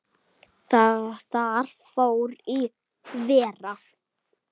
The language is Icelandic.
Þar fór í verra.